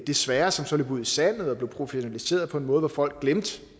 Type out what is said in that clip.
desværre så løb ud i sandet og de blev professionaliseret på en måde hvor folk glemte